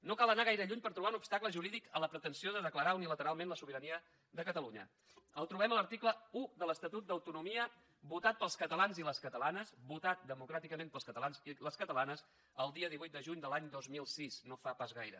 no cal anar gaire lluny per trobar un obstacle jurídic a la pretensió de declarar unilateralment la sobirania de catalunya el trobem a l’article un de l’estatut d’autonomia votat pels catalans i les catalanes votat democràticament pels catalans i les ca talanes el dia divuit de juny de l’any dos mil sis no fa pas gaire